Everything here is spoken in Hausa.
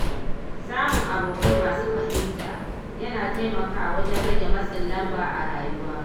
Samun abokai masu fahimta, yana taimakawa wajen rage matsin lamba a rayuwa.